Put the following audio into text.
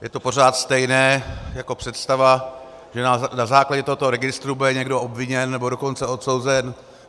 Je to pořád stejné jako představa, že na základě tohoto registru bude někdo obviněn, nebo dokonce odsouzen.